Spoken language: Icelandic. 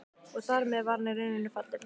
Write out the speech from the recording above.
Og þar með var hann í rauninni fallinn.